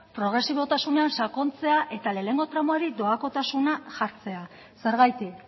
progresibotasunean sakontzea eta lehenengo tramuari doakotasuna jartzea zergatik